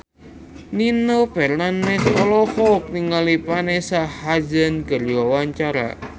Nino Fernandez olohok ningali Vanessa Hudgens keur diwawancara